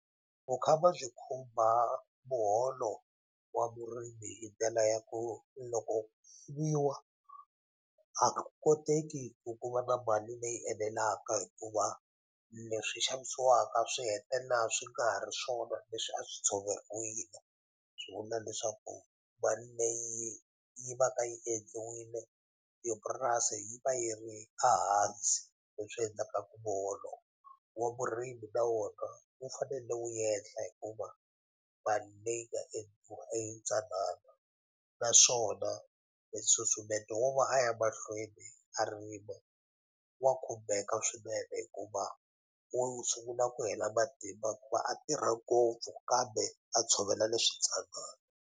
Vukhamba byi khumba muholo wa vurimi hi ndlela ya ku loko a ku koteki ku ku va na mali leyi enelaka hikuva leswi xavisiwaka swi hetelela swi nga ha ri swona leswi a swi tshoveriwile swi vula leswaku mali leyi yi va ka yi endliwile hi purasi yi va yi ri a hansi leswi endlaka ku muholo wa vurimi na wona wu fanele wu yehla hikuva mali leyi nga endliwa i yi ntsanani naswona nsusumeto wo va a ya mahlweni a rima wa khumbeka swinene hikuva wu sungula ku hela matimba ku va a tirha ngopfu kambe a tshovela leswi ntsanana